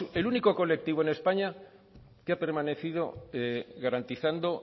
el único colectivo en españa que ha permanecido garantizando